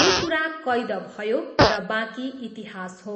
यो कुरा कैद भयो र बाँकी इतिहास हो।